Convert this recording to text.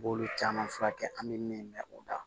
B'olu caman furakɛ an bɛ min mɛn u la